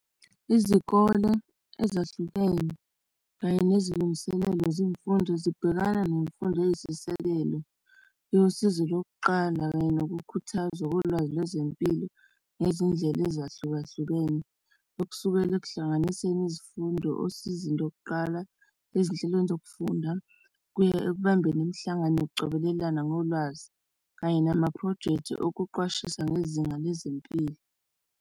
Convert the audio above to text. Izikole ezahlukene kanye nezilungiselelo zezemfundo zibhekana nemfundo eyisisekelo yosizo lokuqala kanye nokukhuthaza kolwazi lwezempilo nezindlela ezahlukahlukene, okusukela ekuhlanganiseni izifundo osizweni lokuqala, ezinhlelweni zokufunda kuya ekubambeni imihlangano yokucobelelana ngolwazi kanye nama-projects okuqwashisa ngezinga lwezempilo.